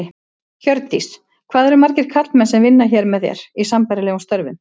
Hjördís: Hvað eru margir karlmenn sem vinna hér með þér, í sambærilegum störfum?